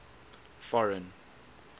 foreign